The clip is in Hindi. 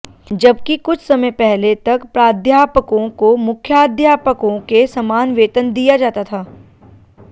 जबकि कुछ समय पहले तक प्राध्यापकों को मुख्याध्यापकों के समान वेतन दिया जाता था